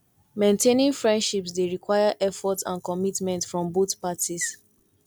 maintaining friendships dey require effort and commitment from both parties